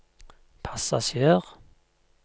passasjer